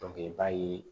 i b'a ye